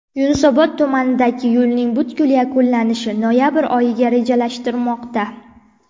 Yunusobod tumanidagi yo‘lning butkul yakunlanishi noyabr oyiga rejalashtirilmoqda.